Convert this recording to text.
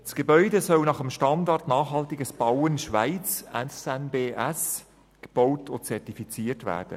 Das Gebäude soll nach dem Standard für nachhaltiges Bauen Schweiz (SNBS) gebaut und zertifiziert werden.